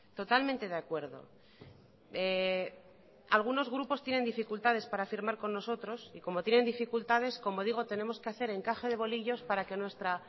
totalmente de acuerdo algunos grupos tienen dificultades para firmar con nosotros y como tienen dificultades como digo tenemos que hacer encaje de bolillos para que nuestra